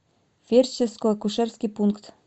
фельдшерско акушерский пункт